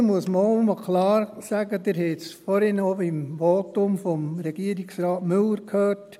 Hier muss man auch einmal klar sagen, Sie haben es vorher noch im Votum des Regierungsrates Müller gehört: